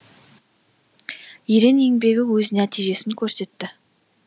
ерен еңбегі өз нәтижесін көрсетті